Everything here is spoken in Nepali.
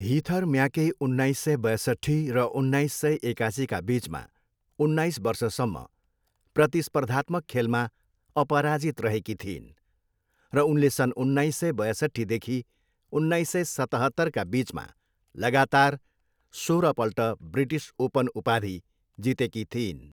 हिथर म्याके उन्नाइस सय बयसट्ठी र उन्नाइस सय एकासीका बिचमा उन्नाइस वर्षसम्म प्रतिस्पर्धात्मक खेलमा अपराजित रहेकी थिइन् र उनले सन् उन्नाइस सय बयसट्ठीदेखि उन्नाइस सय सतहत्तरका बिचमा लगातार सोह्रपल्ट ब्रिटिस ओपन उपाधि जितेकी थिइन्।